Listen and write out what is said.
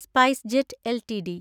SpiceJet LTD